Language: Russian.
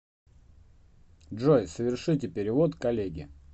джой совершите перевод коллеге